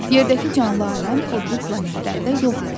Yerdəki canlı aləm o biri planetlərdə yoxdur.